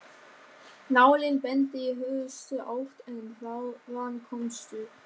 Nálin bendir í hörðustu átt en þaðan komstu